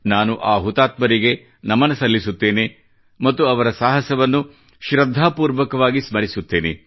ನಾನು ಆ ಹುತಾತ್ಮರಿಗೆ ನಮನ ಸಲ್ಲಿಸುತ್ತೇನೆ ಮತ್ತು ಅವರ ಸಾಹಸವನ್ನು ಶ್ರದ್ಧಾಪೂರ್ವಕವಾಗಿ ಸ್ಮರಿಸುತ್ತೇನೆ